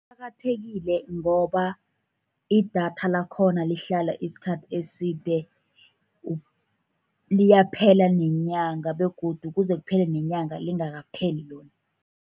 Kuqakathekile ngoba idatha lakhona lihlala isikhathi eside, liyaphela nenyanga begodu kuze kuphele neenyanga lingakapheli lona.